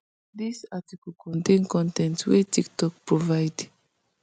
dis article contain con ten t wey tiktok provide